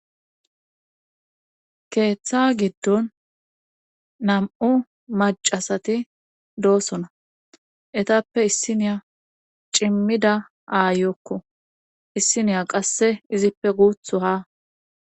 keeththa giddon nam7u macasati doosona etappe issiniya cimmida aayokko issiniya qasse izippe guutho ha.